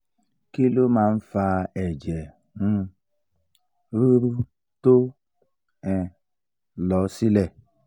kí ló máa ń fa ẹ̀jẹ̀ um rúru tó um lọ sílẹ̀?